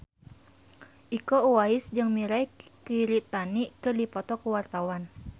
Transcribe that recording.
Iko Uwais jeung Mirei Kiritani keur dipoto ku wartawan